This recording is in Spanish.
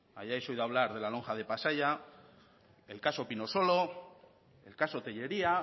hayáis oído hablar de la lonja de pasaia el caso pinosolo el caso telleria